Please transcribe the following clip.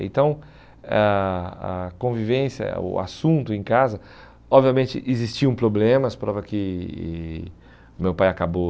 Então, a a convivência, eh o assunto em casa, obviamente existiam problemas, prova que e meu pai acabou...